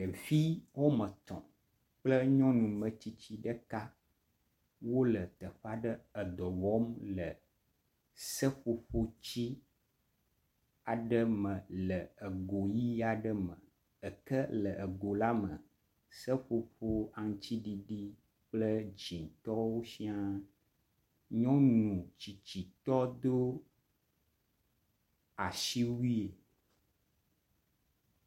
Ɖevi woame etɔ̃ kple nyɔnu metsitsi ɖeka wole teƒe aɖe edɔ wɔm le seƒoƒo tsi aɖe me le ego ʋɛ̃ aɖe me. Eke le ego la me, seƒoƒo aŋutiɖiɖi kple dzɛ̃tɔwo siaa. Nyɔnu tsitsitɔ do asiwui.